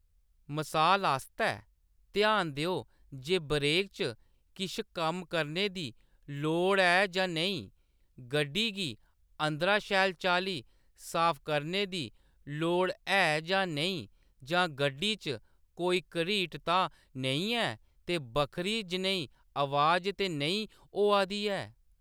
मसाल आस्तै, ध्यान देओ जे ब्रेक च किश कम्म करने दी लोड़ ऐ जां नेईं, गड्डी गी अंदरा शैल चाल्ली साफ करने दी लोड़ ऐ जां नेईं, जां गड्डी च कोई घरीट तां नेईं ऐ ते बक्खरी जनेही आवाज ते नेईं होआ दी ऐ।